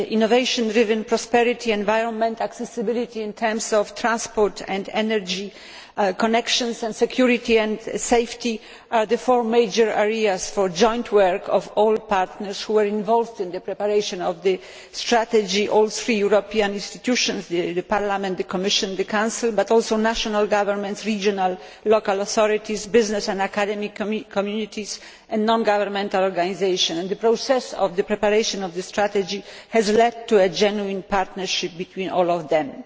Innovation driven prosperity, the environment, accessibility in terms of transport and energy connections, and security and safety are the four major areas for joint work by all partners who are involved in preparation of the strategy all three European institutions Parliament, the Commission, the Council but also national governments, regional and local authorities, business and academic communities and non governmental organisations. The process of the preparation of the strategy has led to a genuine partnership between all of them.